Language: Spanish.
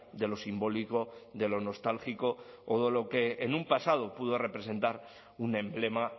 de lo simbólico de lo nostálgico o de lo que en un pasado pudo representar un emblema